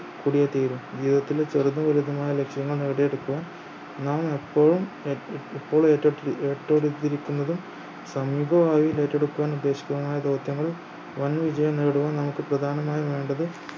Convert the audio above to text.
കൂടിയേ തീരു ജീവിതത്തിലെ ചെറുതും വലുതുമായ ലക്ഷ്യങ്ങൾ നേടിയെടുക്കുവാൻ നാം എപ്പോഴും എപ്പോഴും ഏറ്റെടു ഏറ്റെടുത്തിരിക്കുന്നതും സമീപ ഭാവിയിൽ ഏറ്റെടുക്കാൻ ഉദ്ദേശിക്കുന്നതുമായ ദൗത്യങ്ങളും വൻ വിജയം നേടുവാൻ നമുക്ക് പ്രധാനമായി വേണ്ടത്